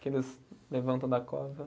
Que eles levantam da cova.